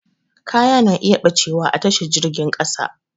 Kaya na iya ɓacewa a tashar jirgin ƙasa